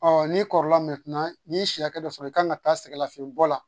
n'i kɔrɔla n'i ye si hakɛ dɔ sɔrɔ i kan ka taa sɛgɛn lafiɲɛ bɔ la